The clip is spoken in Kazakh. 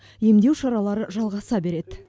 емдеу шаралары жалғаса береді